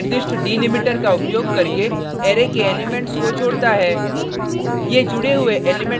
join function निर्दिष्ट delimiter का उपयोग करके अरै के एलिमेंट्स को जोडता है